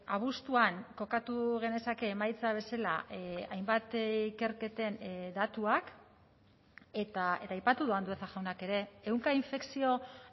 abuztuan kokatu genezake emaitza bezala hainbat ikerketen datuak eta aipatu du andueza jaunak ere ehunka infekzio